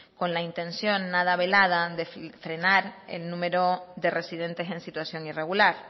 con la intención nada velada de frenar el número de residentes en situación irregular